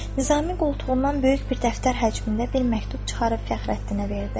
Nizami qoltuğundan böyük bir dəftər həcmində bir məktub çıxarıb Fəxrəddinə verdi.